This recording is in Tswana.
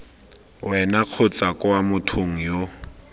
wena kgotsa kwa mothong yo